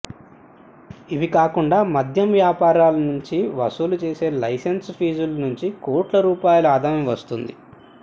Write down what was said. ఇవి కాకుండా మద్యం వ్యాపారుల నుంచి వసూలుచేసే లైసెన్స్ పీజుల నుంచి కోట్ల రూపాయల ఆదాయం వస్తోంది